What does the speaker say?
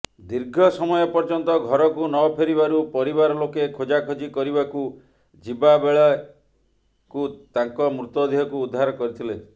ଦୀର୍ଘ ସମୟ ପର୍ଯ୍ୟନ୍ତ ଘରକୁ ନଫେରିବାରୁ ପରିବାର ଲୋକେ ଖୋଜାଖେଜି କରିବାକୁ ଯିବାବେଳେକୁ ତାଙ୍କ ମୃତଦେହକୁ ଉଦ୍ଧାର କରିଥିଲେ